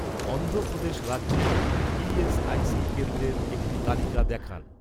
অন্ধ্র প্রদেশ রাজ্যে, ই.এস.আই.সি কেন্দ্রের একটি তালিকা দেখান